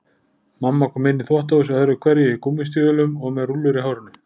Mamma kom inn í þvottahúsið öðru hverju í gúmmístígvélum og með rúllur í hárinu.